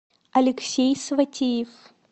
алексей сватиев